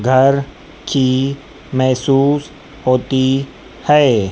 घर की महसूस होती है।